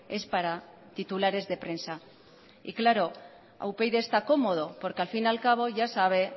es para titulares de prensa y claro upyd está cómodo porque al fin y al cabo ya sabe